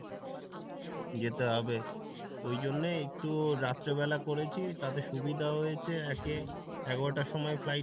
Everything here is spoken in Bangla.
যেতে হবে। ওই জন্য একটু রাত্র বেলা করেছি তাতে সুবিধা হয়েছে একে এগারোটার সময় flight